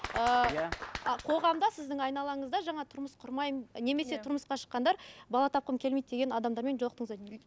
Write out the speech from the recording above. ыыы иә ы қоғамда сіздің айналаңызда жаңа тұрмыс құрмаймын немесе тұрмысқа шыққандар бала тапқым келмейді деген адамдармен жолықтыңыздар